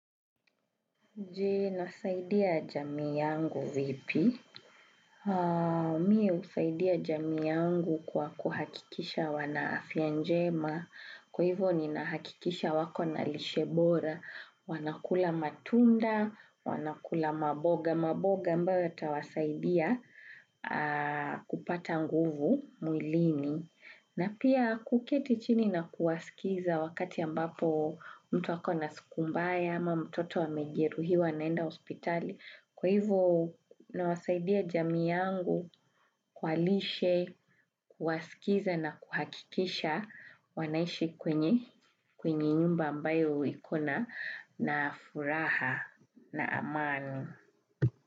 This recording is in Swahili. Jee, nasaidia jami yangu vipi? Mie usaidia jami yangu kwa kuhakikisha wanaafya njema, kwa hivyo ni nahakikisha wako na lishebora, wana kula matunda, wanakula maboga, maboga mba wata wasaidia kupata nguvu muilini. Na pia kuketi chini na kuwasikiza wakati ambapo mtu akona sikumbaya ama mtoto wamejeruhi wa naenda ospitali. Kwa hivo nawasaidia jami yangu kwa lishe, kuwasikiza na kuhakikisha wanaishi kwenye nyumba ambayo ikona na furaha na amani.